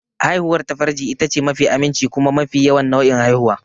Haihuwar ta farji itace mafi aminci kuma mafi yawan nau'in haihuwa.